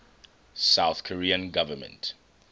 south korean government